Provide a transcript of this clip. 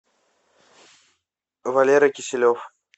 валера киселев